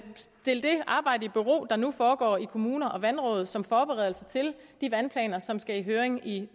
arbejde i bero der nu foregår i kommuner og vandråd som forberedelse til de vandplaner som skal i høring i